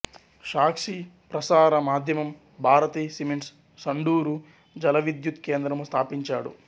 సాక్షి ప్రసార మాధ్యమం భారతీ సిమెంట్స్ సండూరు జలవిద్యుత్ కేంద్రము స్థాపించాడు